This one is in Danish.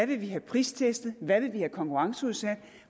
vil have pristestet hvad man vil have konkurrenceudsat og